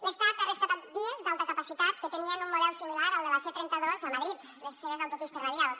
l’estat ha rescatat vies d’alta capacitat que tenien un model similar al de la c trenta dos a madrid les seves autopistes radials